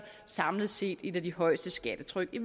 samlet set et af de højeste skattetryk i